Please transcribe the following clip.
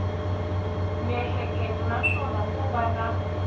miehleketo naswona ko va na